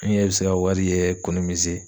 An yɛrɛ bi se ka wari